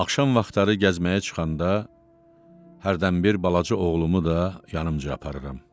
Axşam vaxtları gəzməyə çıxanda hərdən bir balaca oğlumu da yanıca aparıram.